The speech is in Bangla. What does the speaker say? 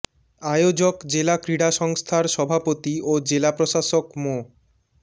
আয়োজক জেলা ক্রীড়া সংস্থার সভাপতি ও জেলা প্রশাসক মো